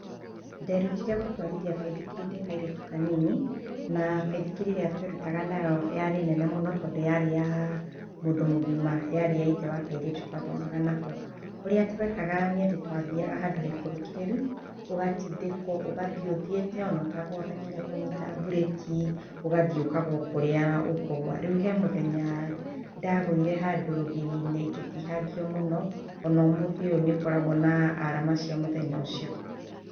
Nderutire gũtwarithia baithikiri ndĩ kairĩtu kanini, na baithikiri ĩrĩa twerutaga nayo yarĩ nene mũno tondũ yarĩ ya mũndũ mũgima. Yarĩ ya ithe wa kairĩtu twathomaga nako. Ũrĩa twekaga nĩ atĩ twathiaga handũ haikũrũkĩrĩru, ũgatindĩkwo ũgathiĩ ũthiĩte ona ũtekũhota kũnyĩta mburĩki ũgathiĩ ũkagwa o kũrĩa ũkũgũa. Rĩu he mũthenya ndagũire handũ rũgiri-inĩ ngĩtihangio mũno, ona ũmũthĩ ũyũ nĩ ngoragwo na alama cia mũthenya ũcio.